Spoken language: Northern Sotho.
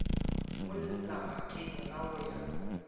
mo labakeng la go ya